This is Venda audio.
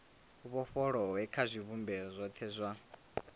vhofholowe kha zwivhumbeo zwothe zwa